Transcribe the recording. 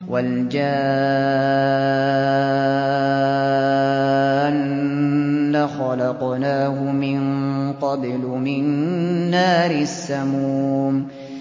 وَالْجَانَّ خَلَقْنَاهُ مِن قَبْلُ مِن نَّارِ السَّمُومِ